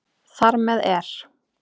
Þar með er